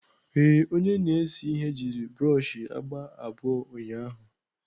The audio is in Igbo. Ee, onye na-ese ihe jiri broọshị agba abụọ ụnyahụ